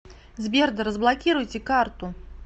сбер да разблокируйте карту